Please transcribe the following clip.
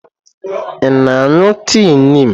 Ị na-aṅụ tii Niim?